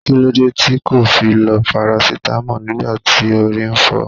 Kilode ti ko fi lo parasitamo nigba ti ori n fo?